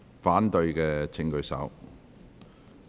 反對的請舉手。